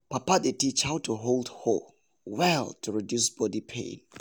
papa dey teach how to hold hoe well to reduce body pain.